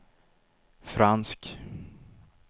fransk